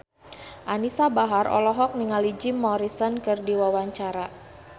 Anisa Bahar olohok ningali Jim Morrison keur diwawancara